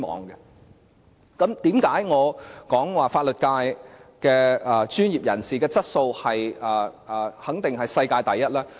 為甚麼我說香港的法律界專業人士的質素肯定是世界第一？